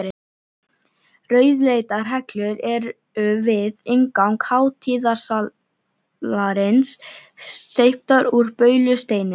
Rauðleitar hellur eru við inngang hátíðasalarins, steyptar úr baulusteini.